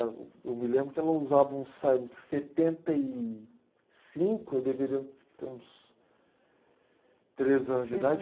Eu, eu me lembro que ela usava uns setenta e cinco, eu deveria ter uns... três anos de idade.